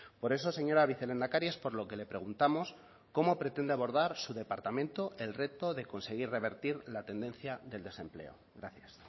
por eso señora vicelehendakari es por lo que le preguntamos cómo pretende abordar su departamento el reto de conseguir revertir la tendencia del desempleo gracias